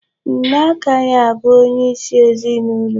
Nne agahị abụ onyeisi ezinụlọ.